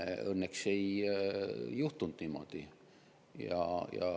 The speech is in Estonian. Õnneks ei juhtunud niimoodi.